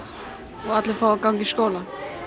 og fái að ganga í skóla